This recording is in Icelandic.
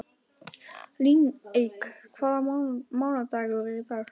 Líneik, hvaða mánaðardagur er í dag?